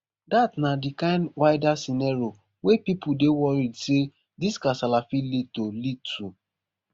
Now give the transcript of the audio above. dat na di kind wider scenario wey pipo dey worried say dis kasala fit lead to lead to